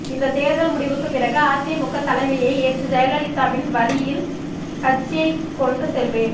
இந்த தேர்தல் முடிவுக்கு பிறகு அதிமுக தலைமையை ஏற்று ஜெயலலிதாவின் வழியில் கட்சியை கொண்டு செல்வேன்